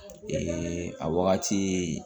a wagati